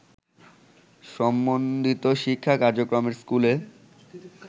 সমন্বিত শিক্ষা কার্যক্রমের স্কুলে